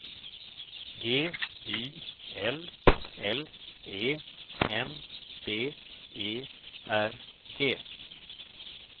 G Y L L E N B E R G